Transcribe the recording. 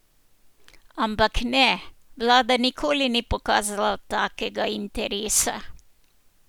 Ampak ne, vlada nikoli ni pokazala takega interesa.